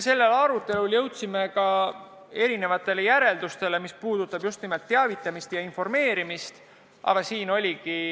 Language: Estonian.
Seda arutades me jõudsime erinevatele seisukohtadele, mis puudutab just nimelt teavitamist ja informeerimist.